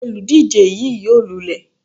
Olùdíje yí yóò lulẹ̀.